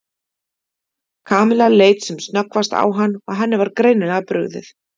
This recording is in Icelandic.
Kamilla leit sem snöggvast á hann og henni var greinilega brugðið.